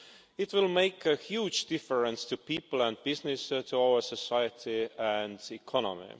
It will make a huge difference to people and business, to our society and economy.